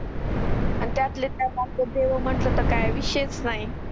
अन त्यातलं काय आपले देव म्हणलं तर काही विशेष नाही